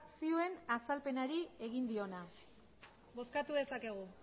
zioen azalpenari egin diona bozkatu dezakegu